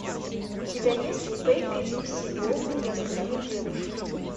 у тебя есть пепи люси бом и остальные девушки